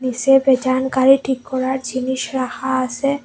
নীসে পেয়চানগাড়ি ঠিক করার জিনিস রাখা আসে।